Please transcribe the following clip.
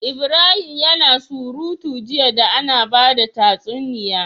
Ibrahim yAna surutu jiya da Ana bada tatsuniya